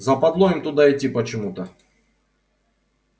западло им туда идти почему-то